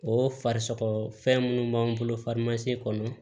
O farisogo fɛn minnu b'an bolo kɔnɔ